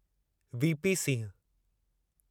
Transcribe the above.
VP Singh